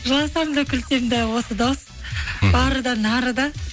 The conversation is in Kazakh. жыласам да күлсем де осы дауыс мхм бары да нары да